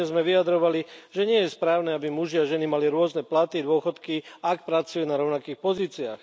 Pôvodne sme vyjadrovali, že nie je správne, aby muži a ženy mali rôzne platy, dôchodky, ak pracujú na rovnakých pozíciách.